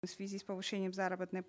в связи с повышением заработной